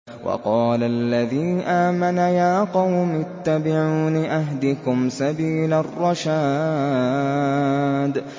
وَقَالَ الَّذِي آمَنَ يَا قَوْمِ اتَّبِعُونِ أَهْدِكُمْ سَبِيلَ الرَّشَادِ